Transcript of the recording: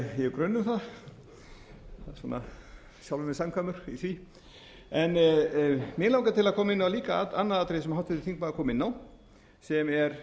það svona sjálfum mér samkvæmur í því mig langar til að koma inn á líka annað atriði sem háttvirtur þingmaður kom inn á sem er